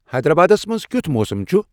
حیدر آبادس منز کِیُتھ موسم چُھ ؟